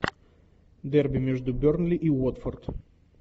дерби между бернли и уотфорд